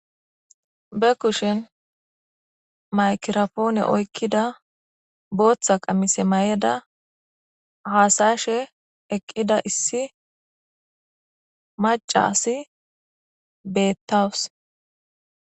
be kushen maykirapoone oykkida booththa qamise mayeda haasayashe eqqida issi macas bettawus